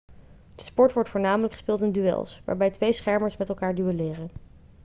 de sport wordt voornamelijk gespeeld in duels waarbij twee schermers met elkaar duelleren